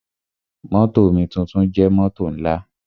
Mótò omituntun jẹ́ mótò ńlá.